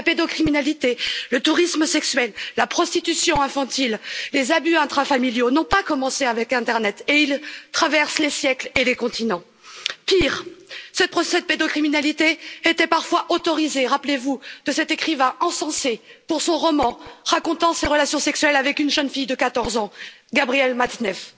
La pédocriminalité, le tourisme sexuel, la prostitution infantile, les abus intrafamiliaux n'ont pas commencé avec internet et ils traversent les siècles et les continents. Pire, ces procès de pédocriminalité étaient parfois autorisés, souvenez vous de cet écrivain encensé pour son roman racontant ses relations sexuelles avec une jeune fille de 14 ans, Gabriel Matzneff.